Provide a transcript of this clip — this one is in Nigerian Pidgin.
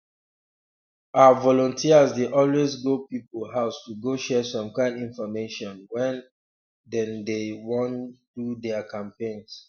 ah volunteers dey always go people house to go share some kind infomation when um dey dey wan do their campaigns